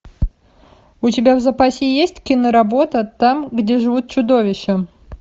у тебя в запасе есть киноработа там где живут чудовища